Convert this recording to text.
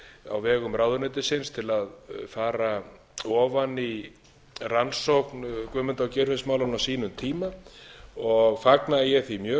á vegum ráðuneytisins til að fara ofan í rannsókn guðmundar og geirfinnsmálanna á sínum tíma og fagna ég því mjög